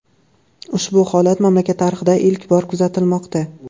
Ushbu holat mamlakat tarixida ilk bor kuzatilmoqda.